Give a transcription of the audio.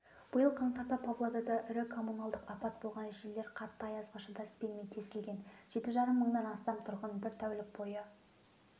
биыл қаңтарда павлодарда ірі коммуналдық апат болған желілер қатты аязға шыдас бермей тесілген жеті жарым мыңнан астам тұрғын бір тәулік бойы